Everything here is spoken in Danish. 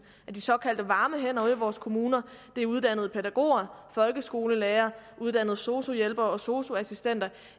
af de såkaldte varme hænder ude i vores kommuner og det er uddannede pædagoger folkeskolelærere sosu hjælpere og sosu assistenter